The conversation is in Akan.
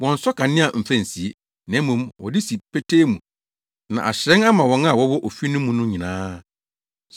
Wɔnnsɔ kanea mfa nsie, na mmom wɔde si petee mu na ahyerɛn ama wɔn a wɔwɔ ofi no mu no nyinaa.